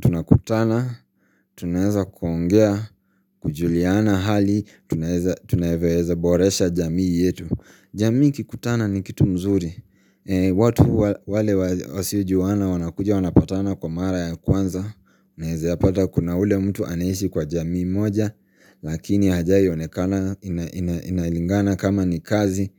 tunakutana, tunaweza kuongea, kujuliana hali, tunavyoweza boresha jamii yetu. Jamii kikutana ni kitu mzuri. Watu wale wasiojuana wanakuja wanapatana kwa mara ya kwanza Naeza yapata kuna ule mtu anaishi kwa jamii moja Lakini hajai onekana inalingana kama ni kazi